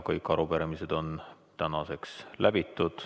Kõik arupärimised on käsitletud.